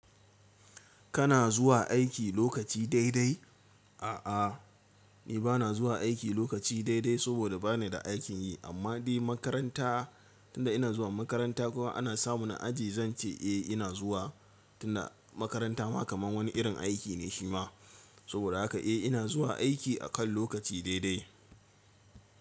Kana zuwa aiki lokaci dai dai? A'a, ni ba na zuwa aiki lokaci dai dai saboda ba ni da aikin yi amma dai makaranta tunda ina zuwa makaranta kuma ana sama na aji zan ce eh ina zuwa. Tunda makaranta ma kaman wani irin aiki ne shima saboda haka eh ina zuwa aiki akan lokaci dai dai.